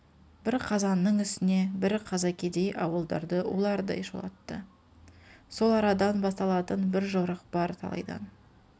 бір қазаның үстіне бір қаза кедей ауыдарды ұлардай шулатты сол арадан басталатын бір жорық бар талайдан